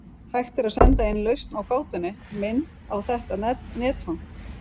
Hægt er að senda inn lausn á gátunni, mynd, á þetta netfang.